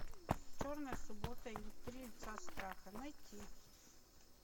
черная суббота или три лица страха найти